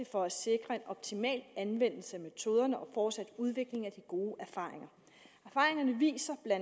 for at sikre en optimal anvendelse af metoderne og fortsat udvikling af de gode erfaringer erfaringerne viser bla